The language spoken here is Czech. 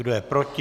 Kdo je proti?